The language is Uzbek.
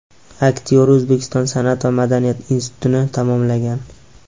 Aktyor O‘zbekiston san’at va madaniyat institutini tamomlagan.